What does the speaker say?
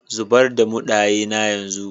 Zubar da mundaye na yanzu